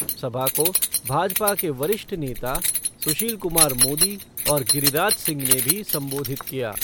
सभा को भाजपा के वरिष्ठ नेता सुशील कुमार मोदी और गिरिराज सिंह ने भी संबोधित किया।